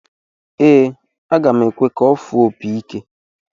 Ee, aga m ekwe ka ọ fụọ opi ike.